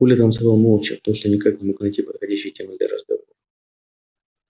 коля танцевал молча потому что никак не мог найти подходящей темы для разговора